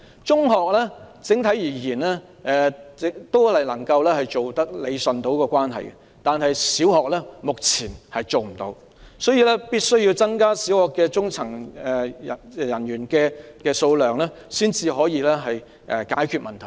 整體而言，中學能夠理順這個關係，但小學目前做不到，所以必須增加小學的中層人員數目才能解決這個問題。